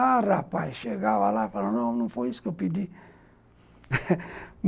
Ah, rapaz, chegava lá e falava, não, não foi isso que eu pedi